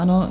Ano.